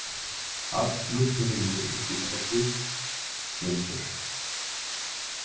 Allur pirringur út í Eddu gleymdur.